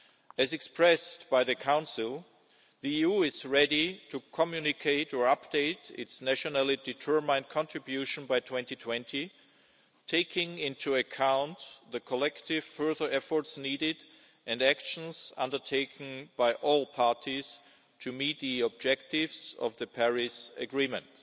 As expressed by the Council, the EU is ready to communicate or update its nationally determined contribution by 2020, taking into account the collective further efforts needed and the actions undertaken by all parties to meet the objectives of the Paris agreement.